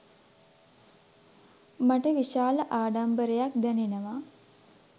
මට විශාල ආඩම්බරයක් දැනෙනවා